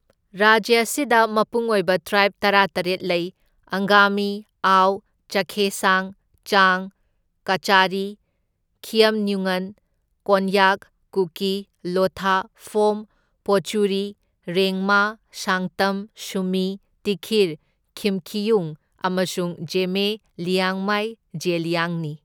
ꯔꯥꯖ꯭ꯌ ꯑꯁꯤꯗ ꯃꯄꯨꯡ ꯑꯣꯏꯕ ꯇ꯭ꯔꯥꯏꯕ ꯇꯔꯥꯇꯔꯦꯠ ꯂꯩ ꯑꯪꯒꯥꯃꯤ, ꯑꯥꯎ, ꯆꯥꯈꯦꯁꯥꯡ, ꯆꯥꯡ, ꯀꯆꯥꯔꯤ, ꯈꯤꯌꯝꯅꯤꯎꯉꯟ, ꯀꯣꯟꯌꯥꯛ, ꯀꯨꯀꯤ, ꯂꯣꯊꯥ, ꯐꯣꯝ, ꯄꯣꯆꯨꯔꯤ, ꯔꯦꯡꯃꯥ, ꯁꯥꯡꯇꯝ, ꯁꯨꯃꯤ, ꯇꯤꯈꯤꯔ, ꯌꯤꯝꯈꯤꯌꯨꯡ ꯑꯃꯁꯨꯡ ꯖꯦꯃꯦ ꯂꯤꯌꯥꯡꯃꯥꯏ ꯖꯦꯂꯤꯌꯥꯡ ꯅꯤ꯫